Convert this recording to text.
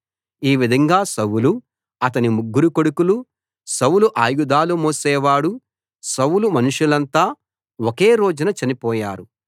ఈ విధంగా సౌలు అతని ముగ్గురు కొడుకులు సౌలు ఆయుధాలు మోసేవాడు సౌలు మనుషులంతా ఒకే రోజున చనిపోయారు